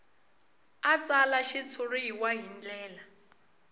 a tsala xitshuriwa hi ndlela